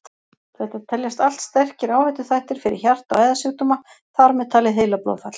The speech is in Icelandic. Þetta teljast allt sterkir áhættuþættir fyrir hjarta- og æðasjúkdóma, þar með talið heilablóðfall.